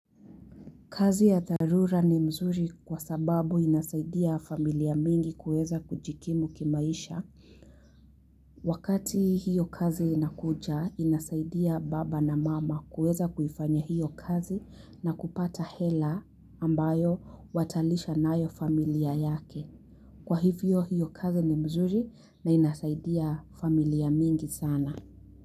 Kazi ya dharura ni mzuri kwa sababu inasaidia familia mingi kuweza kujikimu kimaisha. Wakati hiyo kazi inakuja inasaidia baba na mama kuweza kuifanya hiyo kazi na kupata hela ambayo watalisha nayo familia yake. Kwa hivyo hiyo kazi ni mzuri na inasaidia familia mingi sana.